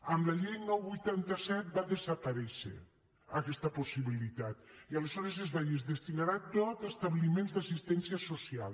amb la llei nou vuitanta set va desaparèixer aquesta possibilitat i aleshores es va dir es destinarà tot a establiments d’assistència social